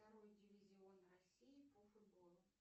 второй дивизион россии по футболу